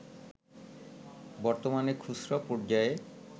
বর্তমানে খুচরা পর্যায়ে